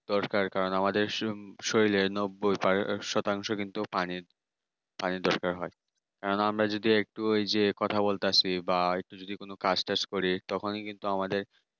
দরকার কারণ আমাদের সু শরীরে নব্বই শতাংশ শুধু পানি পানি দরকার হয় কারণ আমরা যদি একটু ওই যে একটু কথা বলতে আসি বা একটু কাজ টাজ করি তখনই কিন্তু আমাদের